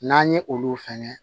N'an ye olu fɛnɛ